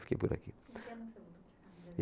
Fiquei por aqui.